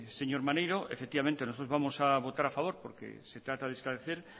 señor maneiro efectivamente nosotros vamos a votar a favor porque se trata de esclarecer